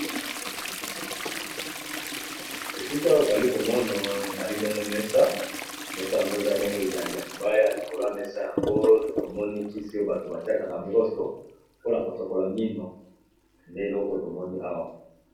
Esika oyo toli komono ezali bongo mesa, mesa yango eza bongo ya libaya likolo ya mesa yango tomoni kisi oyo bato batiaka na broso mpona kosokola mino nde eloko tomoni awa.